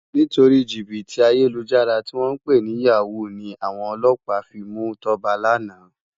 Nitóri jibiti àyélújàrá tiwòn pé ni yáwú ni áwòn òlòpá fi mú Toba làná